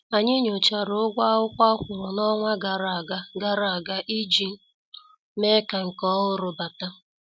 Anyị nyochara ụgwọ akwụkwọ akwuru n' ọnwa gara aga gara aga iji mee ka nke ọhụrụ bata.